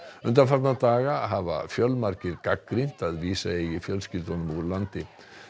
undanfarna daga hafa fjölmargir gagnrýnt að vísa eigi fjölskyldunum úr landi